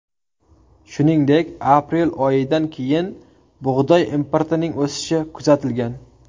Shuningdek, aprel oyidan keyin bug‘doy importining o‘sishi kuzatilgan.